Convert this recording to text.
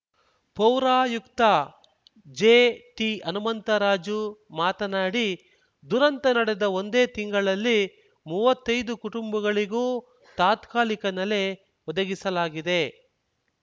ಪೌರಾಯುಕ್ತ ಜೆಟಿಹನುಮಂತರಾಜು ಮಾತನಾಡಿ ದುರಂತ ನಡೆದ ಒಂದೇ ತಿಂಗಳಲ್ಲಿ ಮೂವತ್ತೈದು ಕುಟುಂಬಗಳಿಗೂ ತಾತ್ಕಾಲಿಕ ನೆಲೆ ಒದಗಿಸಲಾಗಿದೆ